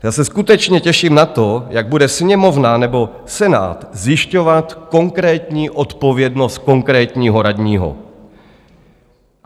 Já se skutečně těším na to, jak bude Sněmovna nebo Senát zjišťovat konkrétní odpovědnost konkrétního radního.